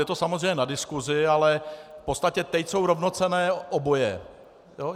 Je to samozřejmě na diskusi, ale v podstatě teď jsou rovnocenné oboje.